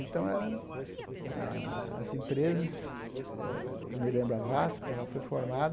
Então, eram as empresas... Eu me lembro a VASP, ela foi formada,